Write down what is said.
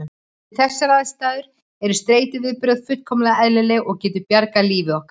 Við þessar aðstæður eru streituviðbrögð fullkomlega eðlileg og geta bjargað lífi okkar.